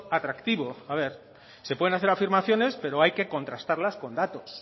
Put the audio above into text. atractivo a ver se pueden hacer afirmaciones pero hay que contrastarlas con datos